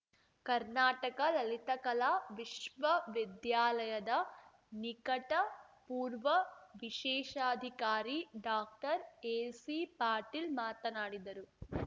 ಕರ್ನಾಟಕ ಲಲಿತಕಲಾ ವಿಶ್ವವಿದ್ಯಾಲಯದ ನಿಕಟಪೂರ್ವ ವಿಶೇಷಾಧಿಕಾರಿ ಡಾಕ್ಟರ್ಎಸಿಪಾಟೀಲ್ ಮಾತನಾಡಿದರು